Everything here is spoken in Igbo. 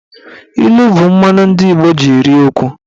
Ilu bụ mmanụ ndị Igbo ji eri okwu.